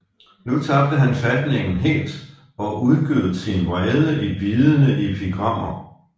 Nu tabte han fatningen helt og udgød sin vrede i bidende epigrammer